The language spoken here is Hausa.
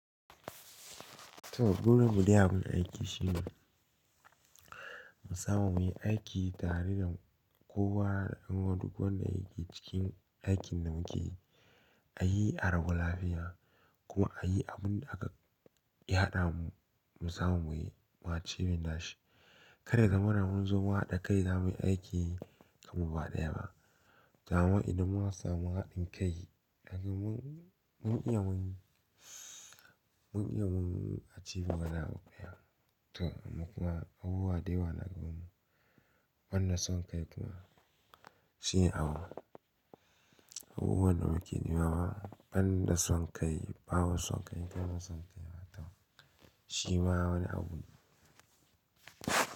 To gurin mu dai a gun aiki shine mu samu muyi aiki tare da kowa da wani duk wanda yake cikin aikin da muke yi. A yi a rabu lafiya ko a yi abinda ya hada mu mu samu muyi, mu a ci binne shi. Kada zamana mun zo wa da kai zamuyi aiki kamar ba daya ba. To amma idan mun samu haɗin kai, dai mun, mun iya mun, mun iya mun a ci gaba da ya. To amma kuma abubuwa dayawa na gabanmu. Wannan son kai kuma shine awon, abubuwan da muke nemawa. Fan na son kai, bawon son kai, ƙanan son kai ma tam. Shi ma wani abu ne.